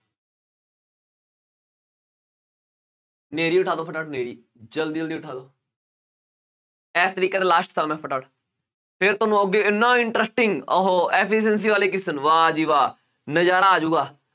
ਹਨੇਰੀ ਉਠਾ ਦਓ ਫਟਾਫਟ ਹਨੇਰੀ ਜ਼ਲਦੀ ਜ਼ਲਦੀ ਉਠਾ ਦਓ ਇਸ ਫਿਰ ਤੁਹਾਨੂੰ ਅੱਗੇ ਇੰਨਾ interesting ਉਹ ਵਾਹ ਜੀ ਵਾਹ ਨਜ਼ਾਰਾ ਆ ਜਾਊਗਾ,